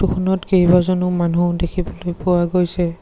ফটোখনত কেইবাজনো মানুহ দেখিবলৈ পোৱা গৈছে।